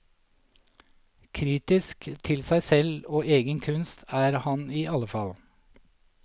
Kritisk til seg selv og egen kunst er han i alle fall.